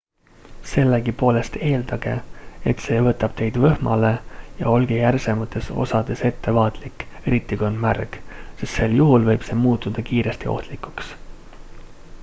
sellegipoolest eeldage et see võtab teid võhmale ja olge järsemates osades ettevaatlik eriti kui on märg sest sel juhul võib see muutuda kiiresti ohtlikuks